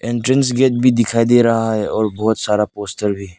Entrance gate भी दिखाई दे रहा है और बहुत सारा पोस्टर भी।